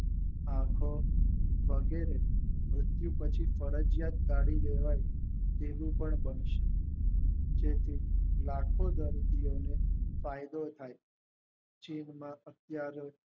આખો વગેરે મૃત્યુ પછી ફરજીયાત કાઢી લેવાય એવું પણ બનશે જેટલે લખો દર્દી ઓ ને ફાયદો થઈ જેમનો અત્યરે